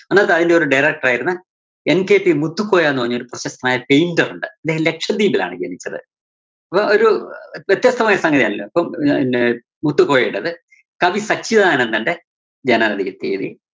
അന്നത്തെ അതിന്റെ ഒരു director യിരുന്ന NKC മുത്തുക്കോയ എന്ന് പറഞ്ഞൊരു പ്രശസ്‌തനായ painter ഉണ്ട്. അദ്ദേഹം ലക്ഷദ്വീപിലാണ്‌ ജനിച്ചത്. അപ്പം ഒരു അഹ് വ്യത്യസ്തമായ സംഗതി അണല്ലോ ഇപ്പം ന് മുത്തുക്കോയുടേത്, കവി സച്ചിദാനന്ദന്റെ ജനന തി~തിയ്യതി